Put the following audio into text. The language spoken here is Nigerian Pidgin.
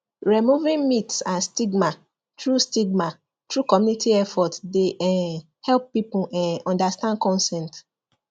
removing myths and stigma through stigma through community effort dey um help people um understand consent